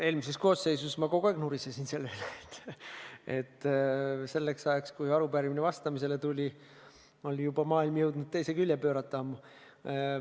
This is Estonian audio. Eelmises koosseisus ma kogu aeg nurisesin selle üle, et selleks ajaks, kui arupärimisele vastama hakati, oli maailm jõudnud teise külje pöörata.